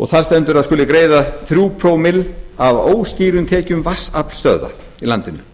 og þar stendur að það skuli greiða þrjú prómill af óskýrum tekjum vatnsaflsstöðva í landinu